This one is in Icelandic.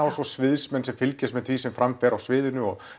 og svo sviðsmenn sem fylgjast með því sem fram fer á sviðinu